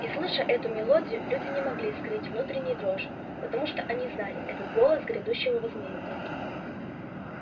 и слыша эту мелодию люди не могли скрыть внутренней дрожи потому что они знали это голос грядущего возмездия